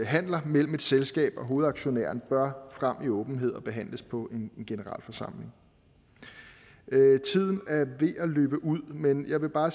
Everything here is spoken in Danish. handeler mellem et selskab og hovedaktionæren bør frem i åbenhed og behandles på en generalforsamling tiden er ved at løbe ud men jeg vil bare